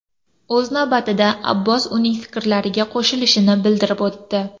O‘z navbatida, Abbos uning fikrlariga qo‘shilishini bildirib o‘tdi.